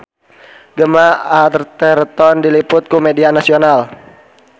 Gemma Arterton diliput ku media nasional